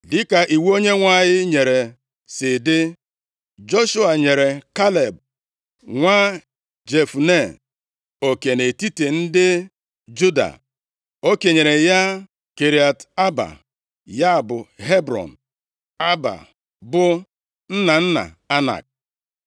Dịka iwu Onyenwe anyị nyere si dị, Joshua nyere Kaleb nwa Jefune oke nʼetiti ndị Juda. O kenyere ya Kiriat Aaba, ya bụ, Hebrọn. Aaba bụ nna nna Anak.